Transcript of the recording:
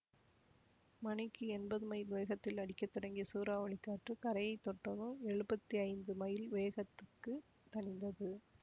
மணிக்கு எண்பது மைல் வேகத்தில் அடிக்க தொடங்கிய சூறாவளிக் காற்று கரையைத் தொட்டதும் எழுபத்தி ஐந்து மைல் வேகத்துக்குத் தணிந்தது